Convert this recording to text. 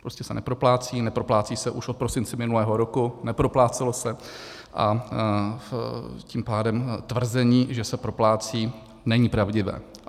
Prostě se neproplácí, neproplácí se už od prosince minulého roku, neproplácelo se, a tím pádem tvrzení, že se proplácí, není pravdivé.